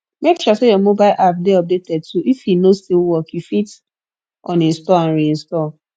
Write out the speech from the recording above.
make sure say your mobile app de updated too if e no still work you fit uninstall and reinstall